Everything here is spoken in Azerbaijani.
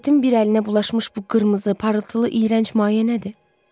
Partretin bir əlinə bulaşmış bu qırmızı parıltılı iyrənc maye nədir?